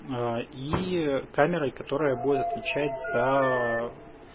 и камерой которая будет отвечать за